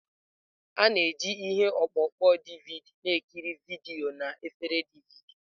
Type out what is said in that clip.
A na-eji ihe ọkpụkpọ DVD na-ekiri vidiyo na efere DVD.